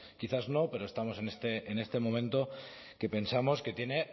quizás no pero estamos en este momento que pensamos que tiene